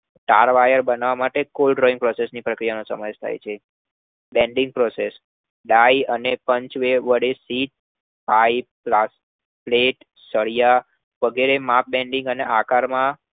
તાર-વાયર બનાવવા માટે Called drawing process નો ઉપયોગ થાય છે. banking process ડાઇ અને પંચ વડે sheet, plate, pipe, સળિયા વગેરે આકારમાં